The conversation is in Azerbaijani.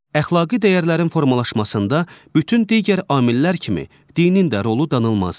Əxlaqi dəyərlərin formalaşmasında bütün digər amillər kimi dinin də rolu danılmazdır.